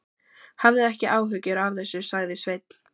Hafðu ekki áhyggjur af þessu, sagði Sveinn.